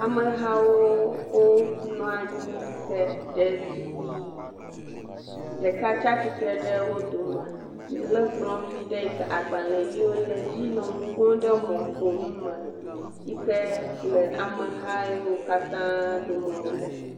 Amehawo wonɔ anyi ke ɖetugbi ɖeka tsi atsitre ɖe wo dome lé kplɔ vi ɖe yi ke.., agbalẽʋiwo le edzi yiwo nɔ nu ƒom ɖe mɔƒonu me yi ke le ameha yiwo katã dome wòle.